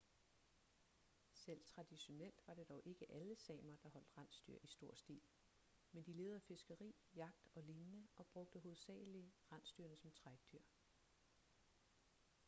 selv traditionelt var det dog ikke alle samer der holdt rensdyr i stor stil men de levede af fiskeri jagt og lignende og brugte hovedsagelig rensdyrene som trækdyr